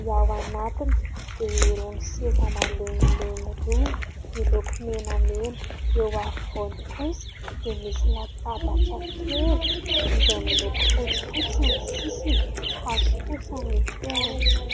ny ao anatiny dia irony seza malemilemy irony miloko menamena, eo afovoany kosa dia misy latabatra kely izay miloko fotsifotsy ny sisiny hazo kosa ny tongony.